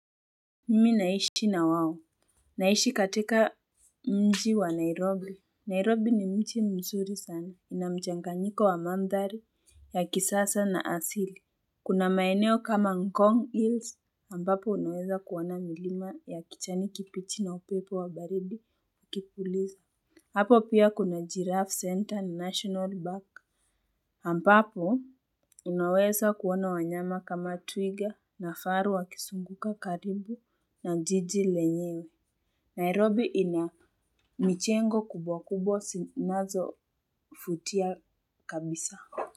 Mimi naishi na wao. Naishi katika mji wa nairobi Nairobi ni mji mzuri sana inamchanganyiko wa mandhari ya kisasa na asili. Kuna maeneo kama ngong hills ambapo unaweza kuona milima ya kichani kibichi na upepo wa baridi ya kipuliza. Hapo pia kuna giraffe center na national park ambapo, unaweza kuona wanyama kama twiga na faru wakisunguka karibu na jiji lenyewe. Nairobi ina michengo kubwa kubwa sinazo futia kabisa.